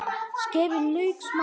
Skerið lauk smátt.